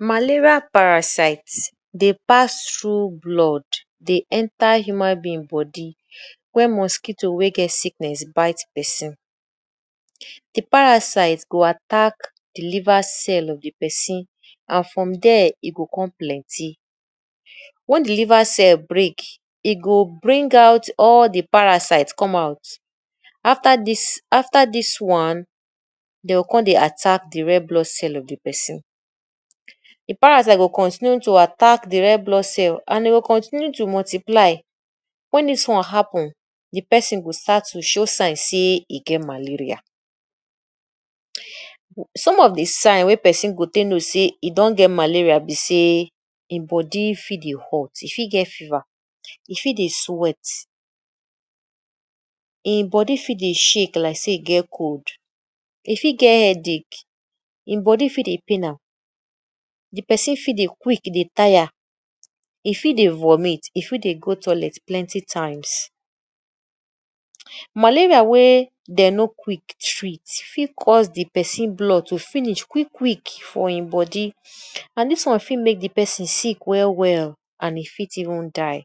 Malaria parasite dey pass through blood dey enter human being body wen mosquito wey get sickness bite person. De parasite go attack de liver cell of de person and from there e go come plenty. Wen de liver cell break, e go bring out all de parasite come out. After dis after dis one dey go come dey attack de red blood cell of de person. De parasite go continue dey attack de red blood cell and dey go continue to multiply. Wen dis one happen de person go start to show sign sey e get malaria. Some of de sign wey person go take know sey e don get malaria be sey im body fit dey hot, e fit get fever, e fit dey sweat, im body fit dey shake like sey e get cold, e fit get headache, im body fit dey pain am, de person fit dey quick dey tire, e fit dey vomit, e fit dey go toilet plenty times. Malaria wey dem no quick treat fit cause de person blood to finish quick quick for im body and dis one fit make de person sick well well and e fit even die.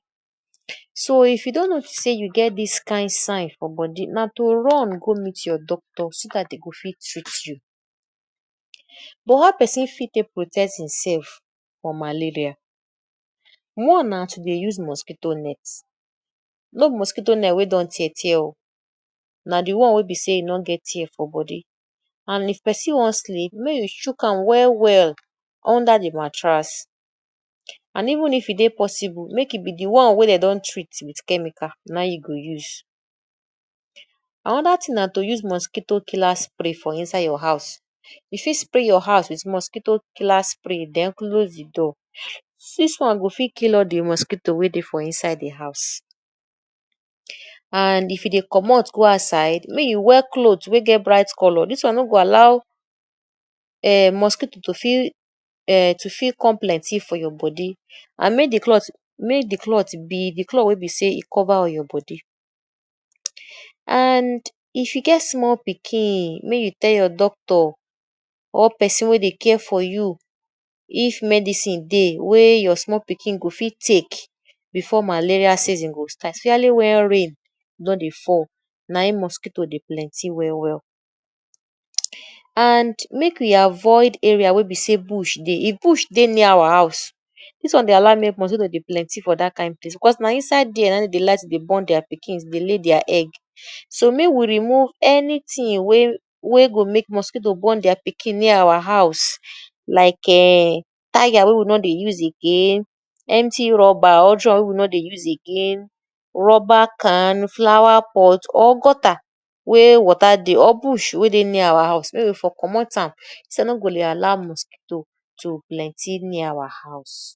So if you don notice sey you get dis kain sign for body na to run go meet your doctor so dat dem go fit treat you. But how person fit take protect im self from malaria? One na to dey use mosquito net. No be mosquito net wey don tear tear oo, na de one wey be sey e no get tear for body and if person wan sleep make e shook am well well under de mattress and even if e dey possible make e be de one wey dem don treat wit chemical na im you go use. Another thing na to dey use mosquito killer spray for inside your house. You fit spray your house wit mosquito killer spray then close de door. Dis one go fit kill all de mosquito wey dey for inside de house. And if you dey comot go outside, make you wear cloth wey get bright colour dis one no go allow um mosquito to fit um to fit come plenty for your body and make de cloth make de cloth be de cloth wey be sey e cover all your body. And if you get small pikin make you tell your doctor or person wey dey care for you if medicine dey wey your small pikin go fit take before malaria season go start especially wen rain don dey fall na im mosquito dey plenty well well. And make we avoid area wey be sey bush dey. If bush dey near our house dis one dey allow make mosquito dey plenty for dat kain place because na inside there na im dey dey like to born their pikin, dey lay their egg. So make we remove anything wey wey go make mosquito born their pikin near our house like um tiger wey we no dey use again, empty rubber or drum wey we no dey use again, rubber can, flower pot or gutter wey water dey or bush wey dey near our house. Make we for comot am so we no go dey allow mosquito to plenty near our house.